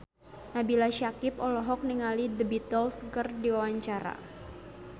Nabila Syakieb olohok ningali The Beatles keur diwawancara